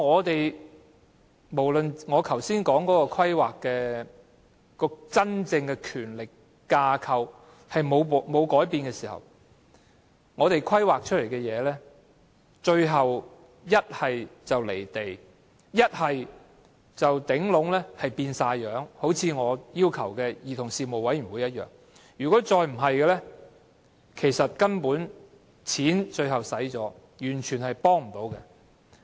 然而，在真正的權力架構沒有改變的情況下，我們提出的規劃，最終要不是"離地"，便是全部變樣——就像我要求成立的兒童事務委員會般——再不便是花了錢，但最終卻完全幫不上忙。